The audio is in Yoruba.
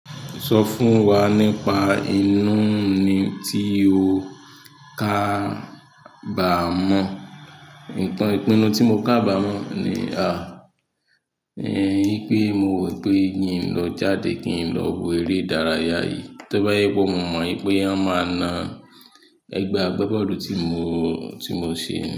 Sọ fún wa nípa inú ni tí o kà bá mọ̀. Nǹkan ìpinnu tí mo kà bá mọ̀ ni, a, ni pé mo rò pé kí n lọ jáde, kí n lọ wo eré ìdárayá yìí. Tóbá jẹ́ pé mọ mọ̀ wípé wọ́n máa na ẹgba abábọ́ọ́lù tí mo, tí mo ṣe.